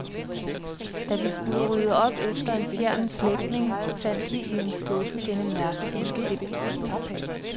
Da vi skulle rydde op efter en fjern slægtning, fandt vi i en skuffe denne mærkelige dims.